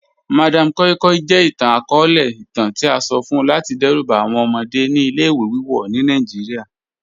Madam koi koi jẹ itan-akọọlẹ itan ti a sọ fun lati dẹruba awọn ọmọde ni ile-iwe wiwọ ni Nigeria